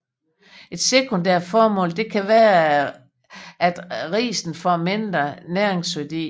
Et sekundært formål kan være at risen får mindre næringsværdi